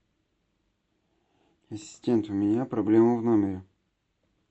ассистент у меня проблема в номере